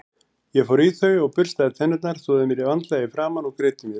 Ég fór í þau og burstaði tennurnar, þvoði mér vandlega í framan og greiddi mér.